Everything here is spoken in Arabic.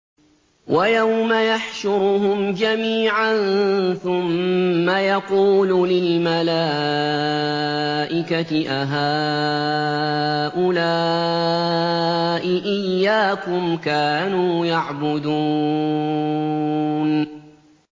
وَيَوْمَ يَحْشُرُهُمْ جَمِيعًا ثُمَّ يَقُولُ لِلْمَلَائِكَةِ أَهَٰؤُلَاءِ إِيَّاكُمْ كَانُوا يَعْبُدُونَ